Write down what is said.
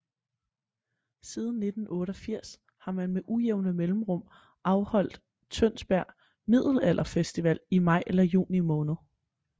Siden 1988 har man med ujævne mellemrum afholdt tønsberg middelalderfestival i maj eller juni måned